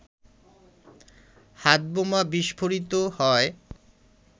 হাতবোমা বিস্ফোরিত হয়